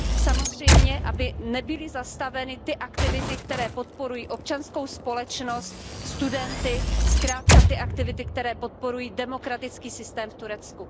Samozřejmě aby nebyly zastaveny ty aktivity, které podporují občanskou společnost, studenty, zkrátka ty aktivity, které podporují demokratický systém v Turecku.